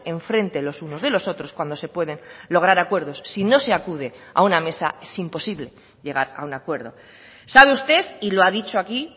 en frente los unos de los otros cuando se pueden lograr acuerdos si no se acude a una mesa es imposible llegar a un acuerdo sabe usted y lo ha dicho aquí